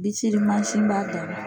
Bisilimansin b'a dan na.